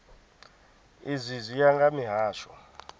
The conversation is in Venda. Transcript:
izwi zwi ya nga mihasho